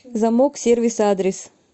замок сервис адрес